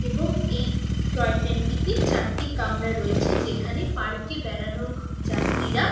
এবং এই টয়ট্রেন -টিতে চারটে কামরা রয়েছে | যেখানে পার্ক -এ বেড়ানো যাত্রীরা --